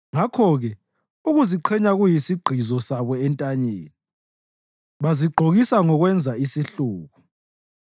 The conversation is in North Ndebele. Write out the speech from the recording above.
Ngakho-ke ukuziqhenya kuyisigqizo sabo entanyeni; bazigqokisa ngokwenza isihluku.